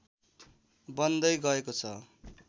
बन्दै गएको छ